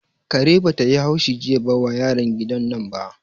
Kare bata yi haushi jiya wa yaran gidan nan ba